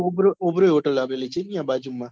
ઉભરી ઉભરી hotel આવેલી છે ન્યા બાજુ માં